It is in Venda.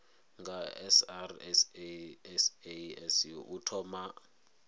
nga srsa sasc u thoma